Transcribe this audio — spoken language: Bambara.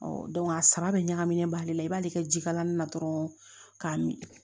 a saba bɛ ɲagaminen b'ale la i b'ale kɛ jikalanni na dɔrɔn k'a min